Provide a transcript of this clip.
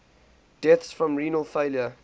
deaths from renal failure